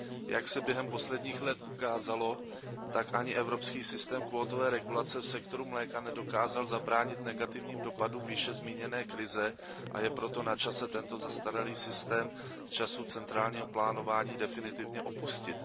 Jak se během posledních let ukázalo, tak ani evropský systém kvótové regulace v sektoru mléka nedokázal zabránit negativním dopadům výše zmíněné krize, a je proto načase tento zastaralý systém z časů centrálního plánování definitivně opustit.